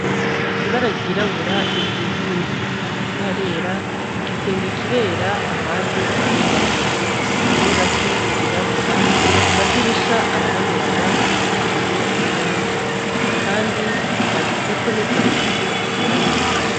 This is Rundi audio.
Ibara ry'irabura risize inzu, hasi harera, igisenge kirera, ahandi harirabura, hariho ingazi zirabura, amadirisha atabonerana ariko ibiyo bimeneka kandi handitseko n'ivyandiko vyera hejuru.